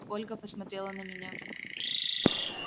ольга посмотрела на меня